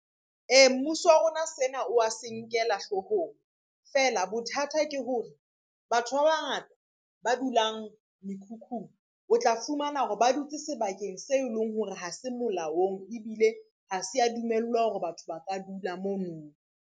Ee, mmuso wa rona sena o se nkela hloohong, feela bothata ke hore batho ba bangata ba dulang mekhukhung, o tla fumana hore ba dutse sebakeng se leng hore ha se molaong, ebile ha se ya dumellwa hore batho ba ka dula mono.